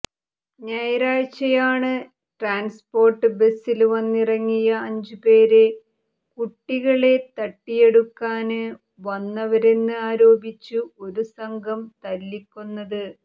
ഞായറാഴ്ചയാണ് ട്രാന്സ്പോര്ട്ട് ബസ്സില് വന്നിറങ്ങിയ അഞ്ചുപേരെ കുട്ടികളെ തട്ടിയെടുക്കാന് വന്നവരെന്ന് ആരോപിച്ച് ഒരു സംഘം തല്ലിക്കൊന്നത്